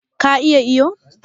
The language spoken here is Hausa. Ka iya iyo?